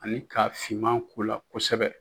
Ani ka finma k'u la kosɛbɛ.